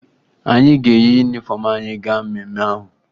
Anyị ga-eyi yunifọmụ anyị gaa mmemme ahụ